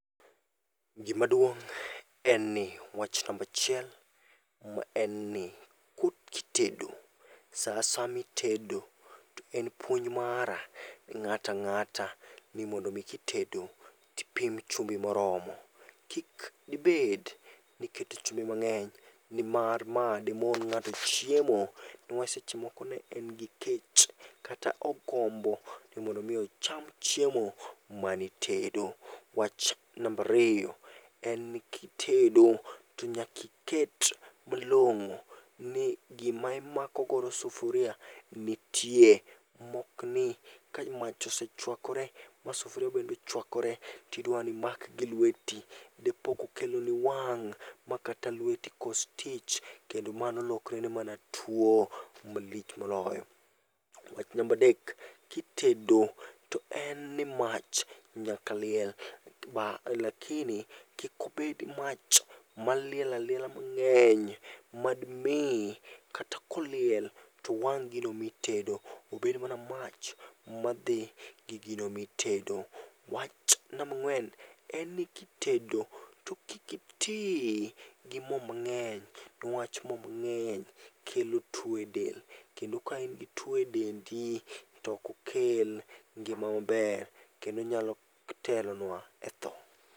Gimaduong' en ni wach nambachiel ma en ni ko kitedo, sa asaya mitedo to en puonj mara ni ng'ata nga'ta ni mondo mi kitedo tipim chumbi moromo. Kik dibed niketo chumbi mang'eny, nimar ma demon ng'ato chiemo. Newach seche moko ne en gi kech, kata ogombo ni mondo mi ocham chiemo manitedo. Wach nambariyo en ni kitedo to nyakiket malong'o ni gima imakogodo sufuria nitie. Mokni ka mach osechwakore ma sufuria bende ochwakore, tidwani imak gi lweti. Dipo kokeloni wang' ma kata lweti kos tich, kendo mano lokorene mana tuo malich moloyo. Wach nambadek, kitedo to en ni mach nyaka liel. Lakini kikobed mach maliel aliela mang'eny, mad mi kata koliel towang' gino mitedo. Obed mana mach madhi gi gino mitedo. Wach nambang'wen: en ni kitedo, to kik iti gi mo mang'eny. Newach mo mang'eny kelo tuo e del. Kendo ka in gi tuo e dendi, tokokel ngima maber. Kendo onyalo telonwa e tho.